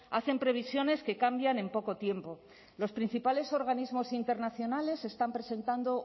hacen previsiones que cambian en poco tiempo los principales organismos internacionales están presentando